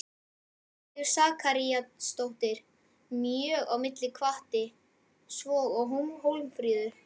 Ástríður Sakaríasdóttir mjög á milli og hvatti, svo og Hólmfríður